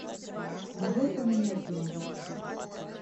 могу я поменять номер